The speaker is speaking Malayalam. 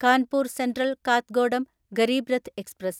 Kanpur central Kathgodam Garib Rath express